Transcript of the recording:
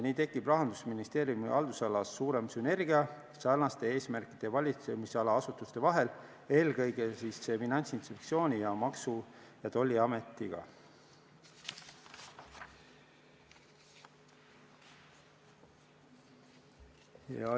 Nii tekib Rahandusministeeriumi haldusalas suurem sünergia sarnaste eesmärkide valitsemisala asutuste vahel, eelkõige Finantsinspektsiooni ja Maksu- ja Tolliametiga.